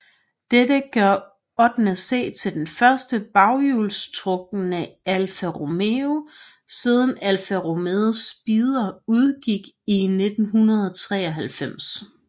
Dette gør 8C til den første baghjulstrukne Alfa Romeo siden Alfa Romeo Spider udgik i 1993